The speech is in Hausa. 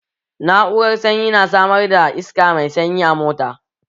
Na'urar sanyi na samar da iska mai sanyi a mota